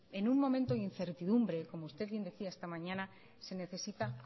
en un momento de incertidumbre como usted bien decía esta mañana se necesita